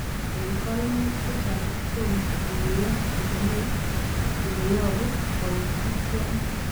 En koimutik chechang' kotom kikuyo komie ileyobu koitityoni.